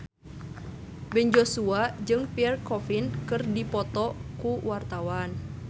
Ben Joshua jeung Pierre Coffin keur dipoto ku wartawan